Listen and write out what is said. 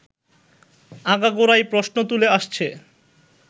আগাগোড়াই প্রশ্ন তুলে আসছে